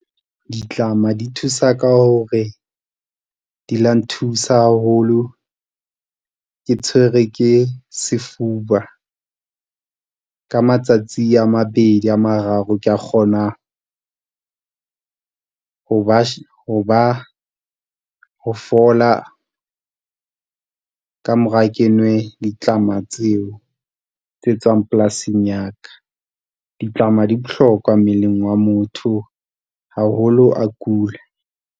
Ditlama di thusa ka hore di la nthusa haholo, ke tshwerwe ke sefuba ka matsatsi a mabedi a mararo ka kgona ho fola. Ka mora ke nwe ditlama tseo tse tswang polasing ya ka ditlama di bohlokwa mmeleng wa motho. Haholo a kula.